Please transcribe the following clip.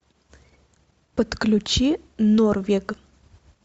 подключи норвег